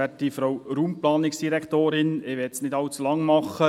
Ich möchte nicht allzu lange werden.